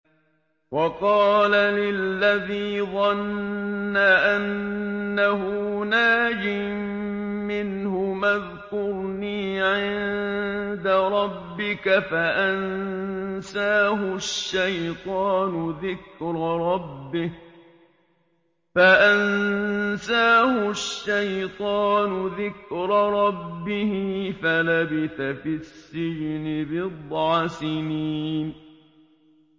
وَقَالَ لِلَّذِي ظَنَّ أَنَّهُ نَاجٍ مِّنْهُمَا اذْكُرْنِي عِندَ رَبِّكَ فَأَنسَاهُ الشَّيْطَانُ ذِكْرَ رَبِّهِ فَلَبِثَ فِي السِّجْنِ بِضْعَ سِنِينَ